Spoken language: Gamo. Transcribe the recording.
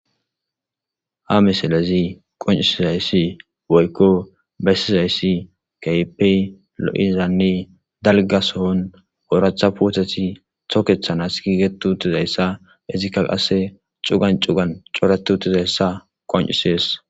Ha misilezi qoncisizayssi boykko bessizayssi kaypey lo'izanne dalgasohon ooratha puoteti tokethanas giigetu utizayssa izikka qase cugan cugan coretu utizayssa qoncisees.